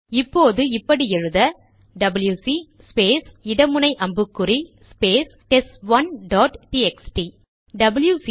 இப்போது இப்படி எழுத டபில்யுசி ஸ்பேஸ் இட முனை அம்புக்குறி space test one dot TXT WC